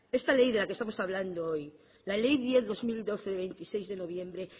esta ley de la que estamos hablando hoy la ley diez barra dos mil doce de veintiséis de noviembre